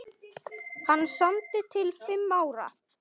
Hann samdi til fimm ára.